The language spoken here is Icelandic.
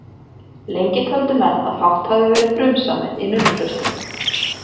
Lengi töldu menn að fátt hafi verið frumsamið í nunnuklaustrum.